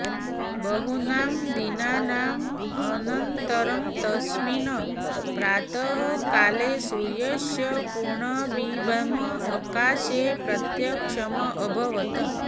बहूनां दिनानाम् अनन्तरं तस्मिन् प्रातः काले सूर्यस्य पूर्णबिम्बम् आकाशे प्रत्यक्षम् अभवत्